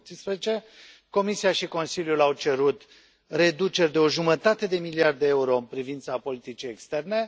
2018. Comisia și Consiliul au cerut reduceri de o jumătate de miliard de euro în privința politicii externe.